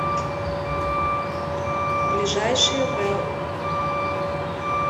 ближайший велл